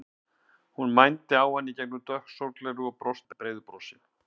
Hún mændi á hann í gegnum dökk sólgleraugu og brosti breiðu brosi.